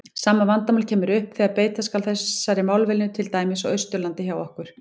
Sama vandamál kemur upp þegar beita skal þessari málvenju til dæmis á Austurlandi hjá okkur.